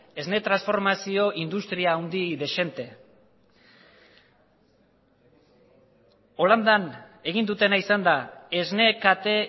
esne transformazio industria handi dezente holandan egin dutena izan da esne kate